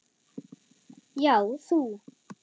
Já, þú!